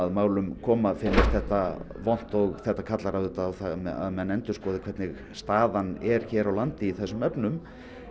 máli koma finnist þetta vont og þetta kallar auðvitað á að menn endurskoði hvernig staðan er hér á landi í þessum efnum